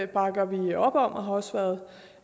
bakker vi op om og har også været